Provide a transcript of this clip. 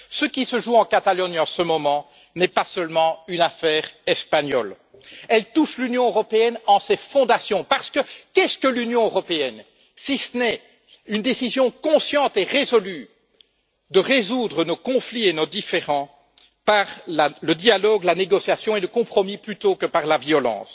Ce qui se joue en Catalogne en ce moment n'est pas seulement une affaire espagnole, elle touche l'Union européenne en ses fondations, car qu'est ce que l'Union européenne, si ce n'est une décision consciente et résolue de résoudre nos conflits et nos différends par le dialogue, la négociation et le compromis plutôt que par la violence.